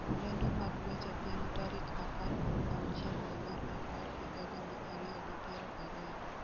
lendo mag weche piny tarik apar kod auchiel dwe mar apar higa gana ariyo gi piero ariyo